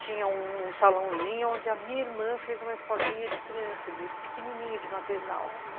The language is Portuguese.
tinha um salãozinho onde a minha irmã fez uma escolinha de criança, de pequenininho, de maternal.